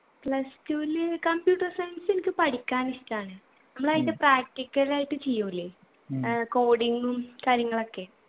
plus two ല് computer science എനിക്ക് പഠിക്കാൻ ഇഷ്ടാണ് നമ്മൾ അതിൻ്റെ practical ആയിട്ട് ചെയ്യൂലെ ഏർ coding ഉം കാര്യങ്ങളൊക്കെ